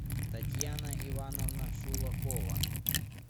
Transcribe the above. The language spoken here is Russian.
татьяна ивановна шулакова